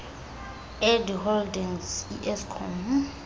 edi holdings ieskom